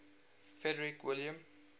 frederick william